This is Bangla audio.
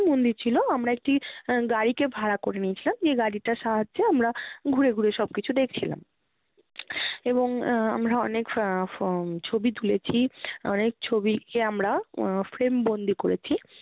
মন্দির ছিলো। আমরা একটি গাড়িকে ভাড়া করে নিয়েছিলাম, যে গাড়িটার সাহায্যে আমরা ঘুরে ঘুরে সবকিছু দেখছিলাম। এবং এর আমরা অনেক ফা~ ফ~ ছবি তুলেছি অনেক ছবিকে আমরা আহ frame বন্দী করেছি।